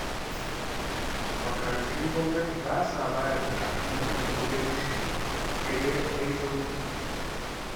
Makarantun gwamnati ba sa ba da karatu mai inganci, sai dai akwai sauƙi